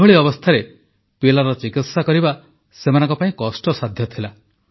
ଏଭଳି ଅବସ୍ଥାରେ ପିଲାର ଚିକିତ୍ସା କରିବା ସେମାନଙ୍କ ପାଇଁ କଷ୍ଟସାଧ୍ୟ ଥିଲା